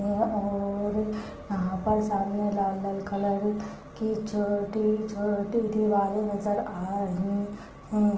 है और यहा पर सामने लाल-लाल कलर की छोटी-छोटी दिवारे नज़र आ रही है।